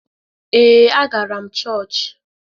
Ee, a gara m chọọchị.